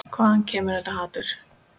Hvaðan kemur þetta hatur?